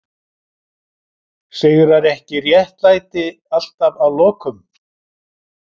Sigrar ekki alltaf réttlæti að lokum?